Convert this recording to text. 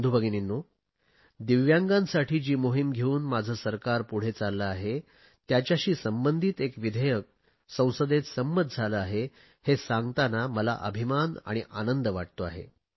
बंधू भगिनींनो दिव्यांगांसाठी जी मोहिम घेऊन माझे सरकार पुढे चालले आहे त्याच्याशी संबंधित एक विधेयक संसदेत संमत झाले आहे हे सांगताना मला अभिमान आणि आनंद वाटतो आहे